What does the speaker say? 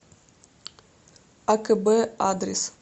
акб адрес